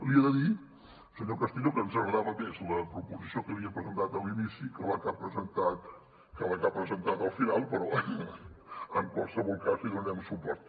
li he de dir senyor castillo que ens agradava més la proposició que havia presentat a l’inici que la que ha presentat al final però en qualsevol cas hi donarem suport